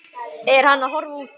Er hann að horfa út?